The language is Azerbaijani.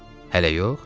Hələ yox?”